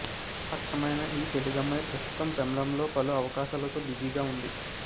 అచ్చమైన ఈ తెలుగు అమ్మాయి ప్రస్తుతం తమిళంలో పలు అవకాశాలతో బిజీగా ఉంది